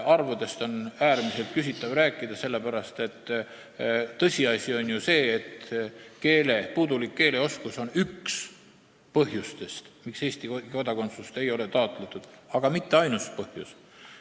Äärmiselt küsitav on rääkida arvudest, sellepärast et tõsiasi on ju see, et puudulik keeleoskus on üks põhjustest, miks Eesti kodakondsust ei ole taotletud, aga mitte ainus põhjus.